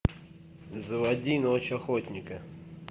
заводи ночь охотника